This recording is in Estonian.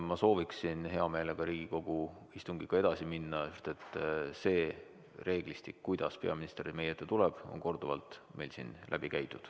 Ma sooviksin hea meelega Riigikogu istungiga edasi minna, sest see reeglistik, kuidas peaminister meie ette tuleb, on korduvalt meil siin läbi käidud.